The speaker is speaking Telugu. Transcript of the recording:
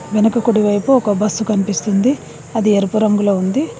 వెనకకుడి వైపు ఒక బస్సు కనిపిస్తుంది అది ఎరుపు రంగులో ఉంది.